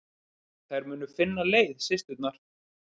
Þær muni finna leið, systurnar.